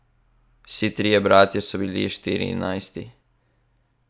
Vsi trije bratje so bili v Štirinajsti.